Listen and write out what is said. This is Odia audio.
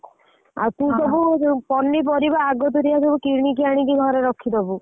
ଆଉ ତୁ ସବୁ ପନି ପାରିବା ସବୁ ଅଗତରିଆ କିଣିକି ଆଣି ଘରେ ରଖିଦବୁ।